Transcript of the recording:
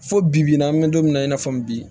Fo bi n'an bɛ don min na i n'a fɔ bi